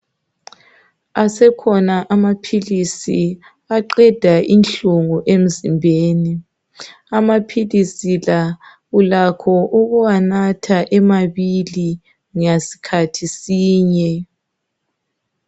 Asekhona amaphilisi aqeda inhlungu emzimbeni. Amaphilisi la ulakho ukuwanatha emabili ngasikhathi sinye.